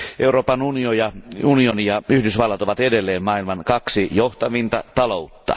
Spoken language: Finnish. Euroopan unioni ja Yhdysvallat ovat edelleen maailman kaksi johtavinta taloutta.